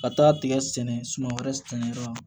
Ka taa tigɛ sɛnɛ wɛrɛ kɛyɔrɔ